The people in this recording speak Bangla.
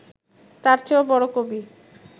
তার চেয়েও বড় কবি